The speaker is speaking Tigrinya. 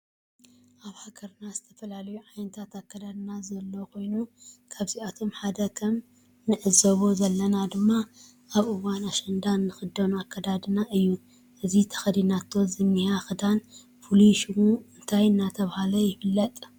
አብ ሃገርና ዝተፈላለዩ ዓይነት አከዳድና ዘሎ ኮይኑ ካብአቶም ሓደ ከም እንዕዘቦ ዘለና ድማ አብ እውን አሽንዳ እንከደኖ አክዳድና እዩ። እዚ ተከዲናቶ ዝኒሃ ክዳን ፉሉይ ሹሙ እንታይ እናተባሀለ ይፍለጥ?